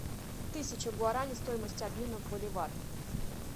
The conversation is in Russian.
тысяча гуарани стоимость обмена в боливар